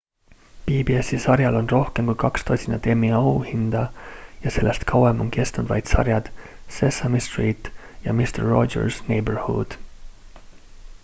pbs-i sarjal on rohkem kui kaks tosinat emmy auhinda ja sellest kauem on kestnud vaid sarjad sesame street ja mister rogers' neighborhood